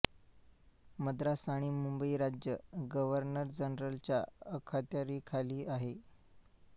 मद्रास आणि मुंबई राज्य गव्हर्नर जनरलच्या अखत्यारीखाली आले